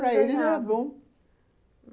Para eles era bom.